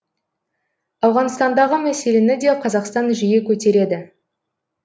ауғанстандағы мәселені де қазақстан жиі көтереді